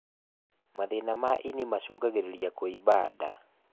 Mathĩna ma ini macũngagĩrĩrĩa kũimba ndaa